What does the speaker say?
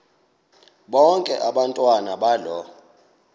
bonke abantwana balo